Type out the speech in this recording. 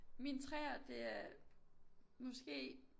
Min 3'er det er måske